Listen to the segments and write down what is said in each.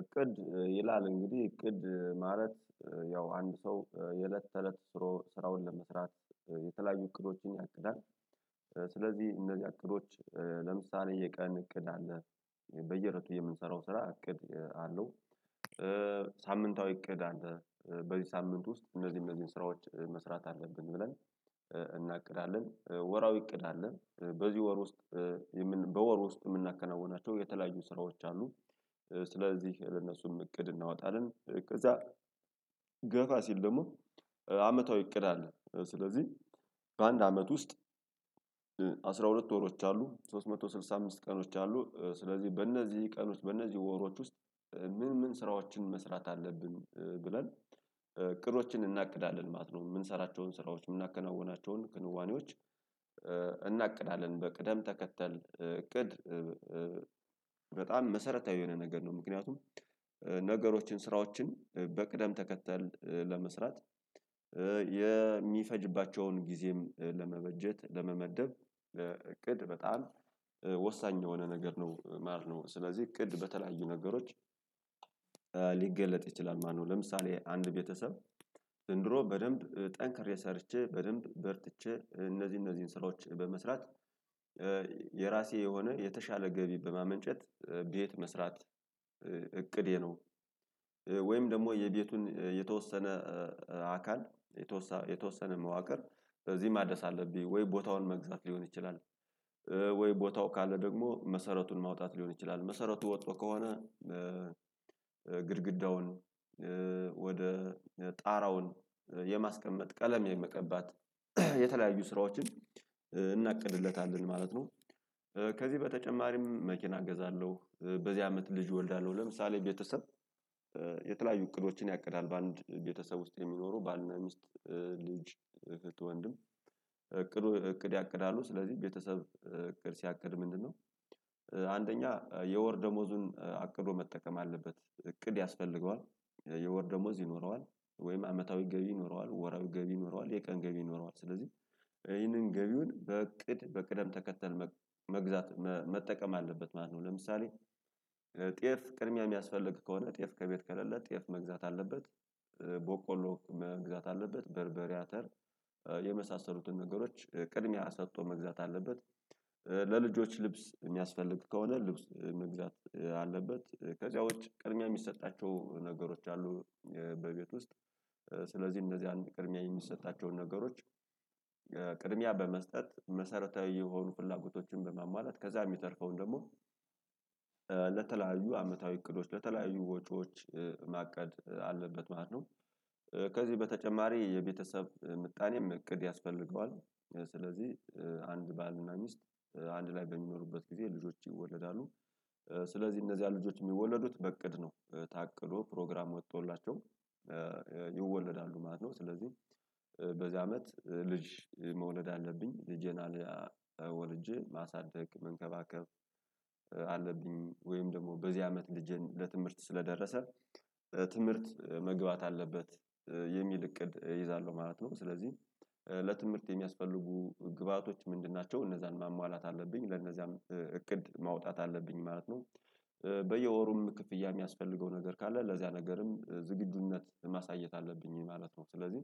እቅድ ይላል እንግዲህ እቅድ ማለት ያው አንድ ሰው የእለት ተእለት ስሮ ስራውን ለመስራት የተለያዩ እቅዶችን ያቅዳል። ስለዚህ እነዚያ እቅዶች ለምሳሌ የቀን እቅድ አለ በየእለቱ የምንሰራው ስራ እቅድ አለው። ሳምንታዊ እቅድ አለ በዚህ ሳምንት ውስጥ እነዚህን እነዚህን ስራዎች መስራት አለብን ብለን እናቅዳለን። ወራዊ እቅድ አለን በዚህ ወር ውስጥ በወር ውስጥ የምናከናውናቸው የተለያዩ ስራዎች አሉ። ስለዚህ ለነሱም እቅድ እናወጣለን። ከዛ ገፋ ሲል ደግሞ አመታዊ እቅድ አለ። ስለዚህ በአንድ አመት ውስጥ አስራ ሁለት ወሮች አሉ ሶስት መቶ ስልሳ አምስት ቀኖች አሉ። ስለዚህ በእነዚህ ቀኖች በእነዚህ ወሮች ውስጥ ምን ምን ስራዎችን መስራት አለብን ብለን አቅዶችን እናቅዳለን ማለት ነው። የምንሰራቸውን ስራዎች የምናከናውናቸውን ክንዋኔዎች እናቅዳለን በቅደም ተከተል እቅድ። በጣም መሰረታዊ የሆነ ነገር ነው። ምክንያቱም ነገሮችን ስራዎችን በቅደም ተከተል ለመስራት የሚፈጅባቸውን ጊዜም ለመበጀት ለመመደብ እቅድ በጣም ወሳኝ የሆነ ነገር ነው። ማር ነው ስለዚህ እቅድ በተለያዩ ነገሮች። ሊገለጥ ይችላል። ማነው ለምሳሌ አንድ ቤተሰብ ዘንድሮ በደንብ ጠንክሬ ሰርቼ በደንብ በርትቼ እነዚህ እነዚህን ስራዎች በመስራት የራሴ የሆነ የተሻለ ገቢ በማመንጨት ቤት መስራት እቅዴ ነው። ወይም ደግሞ የቤቱን የተወሰነ አካል የተወሰነ መዋቅር በዚህ ማደስ አለብኝ ወይ ቦታውን መግዛት ሊሆን ይችላል። ወይ ቦታው ካለ ደግሞ መሰረቱን ማውጣት ሊሆን ይችላል። መሰረቱ ወጥቶ ከሆነ ግድግዳውን ወደ ጣራውን የማስቀመጥ ቀለም የመቀባት የተለያዩ ስራዎችን እናቅድለታለን ማለት ነው። ከዚህ በተጨማሪም መኪና እገዛለሁ በዚህ አመት ልጅ እወልዳለሁ። ለምሳሌ ቤተሰብ የተለያዩ እቅዶችን ያቅዳል በአንድ ቤተሰብ ውስጥ የሚኖሩ ባልና ሚስት ልጅ አህት ወንድም እቅድ እቅድ ያቅዳሉ። ስለዚህ ቤተሰብ እቅድ ሲያቅድ ምንድነው? አንደኛ የወር ደሞዙን አቅዶ መጠቀም አለበት እቅድ ያስፈልገዋል። የወር ደሞዝ ይኖረዋል ወይም አመታዊ ገቢ ይኖረዋል ወራዊ ገቢ ይኖረዋል የቀን ገቢ ይኖረዋል ስለዚህ ይህንን ገቢውን በእቅድ በቅደም ተከተል መግዛት መጠቀም አለበት ማለት ነው። ለምሳሌ ጤፍ ቅድሚያ የሚያስፈልግ ከሆነ ጤፍ ከቤት ከሌለ ጤፍ መግዛት አለበት። በቆሎ መግዛት አለበት በርበሬ አተር የመሳሰሉትን ነገሮች ቅድሚያ ሰጥቶ መግዛት አለበት። ለልጆች ልብስ የሚያስፈልግ ከሆነ ልብስ መግዛት አለበት። ከዚያ ውጪ ቅድሚያ የሚሰጣቸው ነገሮች አሉ። በቤት ውስጥ ስለዚህ እንደዚህ አንድ ቅድሚያ የሚሰጣቸውን ነገሮች ቅድሚያ በመስጠት መሰረታዊ የሆኑ ፍላጎቶችን በማሟላት ከዛ የሚተርፈውን ደግሞ ለተለያዩ አመታዊ እቅዶች በተለያዩ ወጪዎች ማቀድ አለበት ማለት ነው። ከዚህ በተጨማሪ የቤተሰብ ምጣኔም እቅድ ያስፈልገዋል። ስለዚህ አንድ ባልና ሚስት አንድ ላይ በሚኖሩበት ጊዜ ልጆች ይወለዳሉ ስለዚህ እነዚያ ልጆች የሚወለዱት በእቅድ ነው። ታቅዶ ፕሮግራም ወጥቶላቸው ይወለዳሉ ማለት ነው። ስለዚህ በዚህ አመት ልጅ መውለድ አለብኝ ልጄን ወልጄ ማሳደግ መንከባከብ አለብኝ። ወይም ደግሞ በዚህ አመት ልጄን ለትምህርት ስለደረሰ ትምህርት መግባት አለበት። የሚል እቅድ እይዛለሁ ማለት ነው። ስለዚህ ለትምህርት የሚያስፈልጉ ግብአቶች ምንድን ናቸው እነዛን ማሟላት አለብኝ ለእነዚያም እቅድ ማውጣት አለብኝ ማለት ነው። በየወሩም ክፍያ የሚያስፈልገው ነገር ካለ ለዚያ ነገርም ዝግጁነት ማሳየት አለብኝ ማለት ነው። ስለዚህ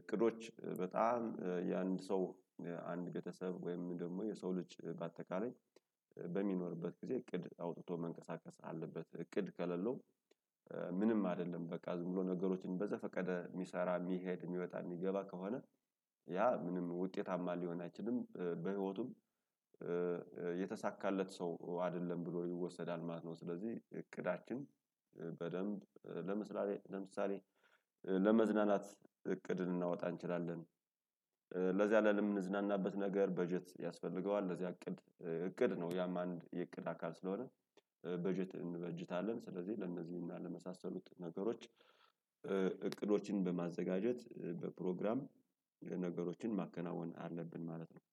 እቅዶች በጣም የአንድ ሰው አንድ ቤተሰብ ወይም ደግሞ የሰው ልጅ በአጠቃላይ በሚኖርበት ጊዜ እቅድ አውጥቶ መንቀሳቀስ አለበት። እቅድ ከሌለው? ምንም አይደለም በቃ ዝም ብሎ ነገሮችን በዘፈቀደ የሚሰራ የሚሄድ የሚወጣ የሚገባ ከሆነ ያ ምንም ውጤታማ ሊሆን አይችልም በህይወቱም የተሳካለት ሰው አይደለም ብሎ ይወሰዳል ማለት ነው። ስለዚህ እቅዳችን በደንብ ለምሳሌ ለመዝናናት እቅድ ልናወጣ እንችላለን። ለዚያ ለምንዝናናበት ነገር በጀት ያስፈልገዋል። ለዚያ እቅድ እቅድ ነው። ያም አንድ የእቅድ አካል ስለሆነ በጀት እንበጅታለን ስለዚህ ለእነዚህና ለመሳሰሉት ነገሮች እቅዶችን በማዘጋጀት በፕሮግራም ነገሮችን ማከናወን አለብን። ማለት ነው